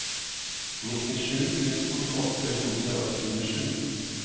nittisju tusen åtte hundre og tjuesju